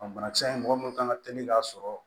Banakisɛ in mɔgɔ minnu kan ka teli k'a sɔrɔ